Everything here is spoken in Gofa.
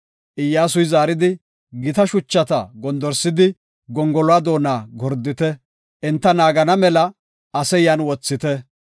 Iyyasuy zaaridi, “Gita shuchata gondorsidi, gongoluwa doona gordite; enta naagana mela ase yan wothite.